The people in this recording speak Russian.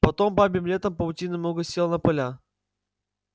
потом бабьим летом паутины много село на поля